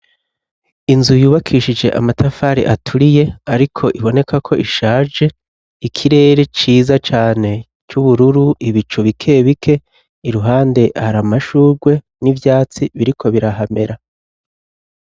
Inzu yubakishije amatafari aturiye ariko iboneka ko ishaje ikirere ciza cane c'ubururu ibicu bike bike iruhande hari amashurwe n'ibyatsi biriko birahamera.